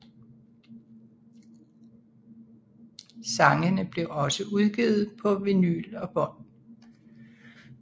Sangene blev også udgivet på vinyl og bånd